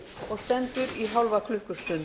og stendur í hálfa klukkustund